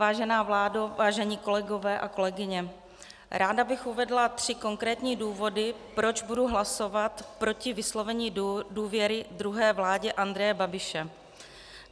Vážená vládo, vážení kolegové a kolegyně, ráda bych uvedla tři konkrétní důvody, proč budu hlasovat proti vyslovení důvěry druhé vládě Andreje Babiše.